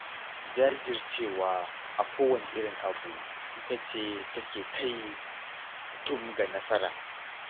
Jajircewa a kowane irin abu ita ce take kai mutum ga nasara.